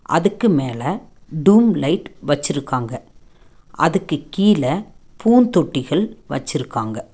அதுக்கு மேல தூம் லைட் வெச்சுருக்காங்க. அதுக்கு கீழ பூந் தொட்டிகள் வெச்சுருக்காங்க.